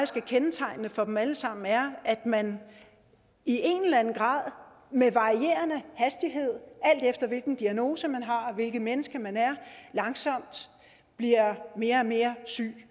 kendetegnende for dem alle sammen er at man i en eller anden grad med varierende hastighed alt efter hvilken diagnose man har og hvilket menneske man er langsomt bliver mere og mere syg